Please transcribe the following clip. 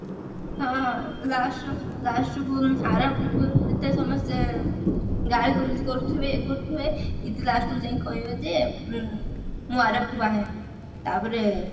ହଁ last ର last କୁ ଆରବ କୁ ଯେତେବେଳେ ସମସ୍ତେ ଗାଳି ଗୁଲଜ କରୁଥିବେ ଇଏ କରୁଥିବେ ଇଏ last କୁ ଯାଇକି କହିବ ଯେ ଉଁ ମୁଁ ଆରବକୁ ବାହା ହେବି ତାପରେ